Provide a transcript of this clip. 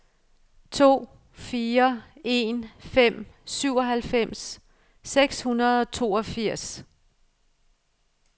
to fire en fem syvoghalvfems seks hundrede og toogfirs